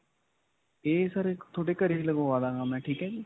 ਇਹ sir ਇਕ ਤੁਹਾਡੇ ਘਰੇ ਹੀ ਲਗਵਾ ਦਾਂਗਾ ਮੈਂ, ਠੀਕ ਹੈ ਜੀ.